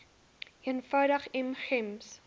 eenvoudig m gems